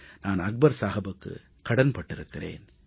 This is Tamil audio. நான் அக்பர் சாஹபுக்கு கடன் பட்டிருக்கிறேன்